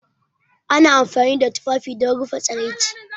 Ana amfani da tufafi don rufe tsiraici